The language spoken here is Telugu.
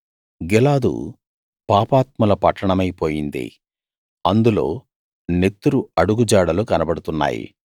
గిలాదు పాపాత్ముల పట్టణమై పోయింది అందులో నెత్తురు అడుగుజాడలు కనబడుతున్నాయి